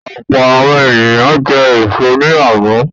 Ọ̀pọ̀ àwọn ènìyàn jẹ èso ní àná.